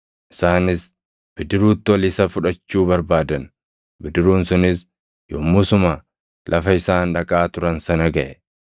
Isaanis bidiruutti ol isa fudhachuu barbaadan; bidiruun sunis yommusuma lafa isaan dhaqaa turan sana gaʼe.